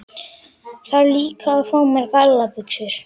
Þarf líka að fá mér gallabuxur.